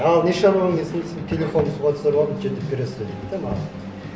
ал не шаруамен келдің десем телефонымды суға түсіріп алдым жөндеп бересіз бе дейді де маған